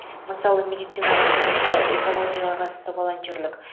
мысалы медицинаға қатысты экологияға қатысты волонтерлік